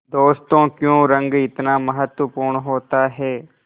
दोस्तों क्यों रंग इतना महत्वपूर्ण होता है